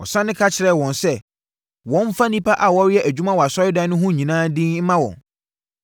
Wɔsane ka kyerɛɛ wɔn sɛ, wɔmfa nnipa a wɔreyɛ adwuma wɔ asɔredan no ho no nyinaa din mma wɔn.